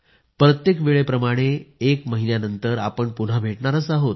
प्रत्येकवेळे प्रमाणे एक महिन्यानंतर आपण पुन्हा भेटणार आहोत